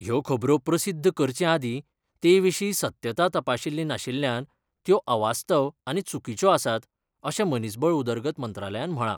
ह्यो खबरो प्रसिध्द करचे आदी तेविशी सत्यता तपाशील्ली नाशिल्ल्यान त्यो अवास्तव आनी चुकीच्यो आसात, अशे मनिसबळ उदरगत मंत्रालयान म्हळा.